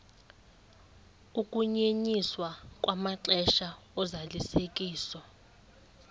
ukunyenyiswa kwamaxesha ozalisekiso